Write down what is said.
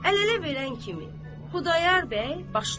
Əl-ələ verən kimi Xudayar bəy başladı.